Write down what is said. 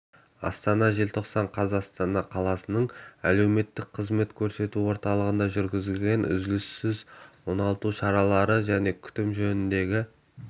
астана желтоқсан қаз астана қаласының әлеуметтік қызмет көрсету орталығында жүргізілетін үзіліссіз оңалту шаралары және күтім жөніндегі